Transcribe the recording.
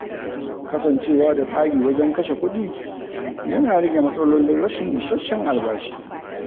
Kasancewa da tsari wajen kashe kuɗi yana rage matsalolin rashin isasshen albashi.